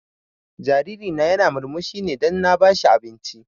Jariri na ya na murmushi ne dan na ba shi abinci